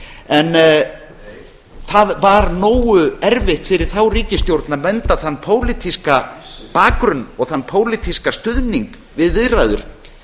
en það var nógu erfitt fyrir þá ríkisstjórn að vernda þennan pólitíska bakgrunn og þann pólitíska stuðning við viðræður